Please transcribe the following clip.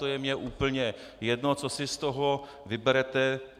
To je mi úplně jedno, co si z toho vyberete.